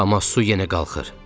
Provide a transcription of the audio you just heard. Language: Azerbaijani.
Amma su yenə qalxır.